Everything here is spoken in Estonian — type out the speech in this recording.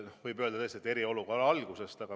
Kõigepealt eriolukorrast.